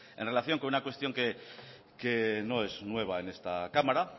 en relación con una cuestión que no es nueva en esta cámara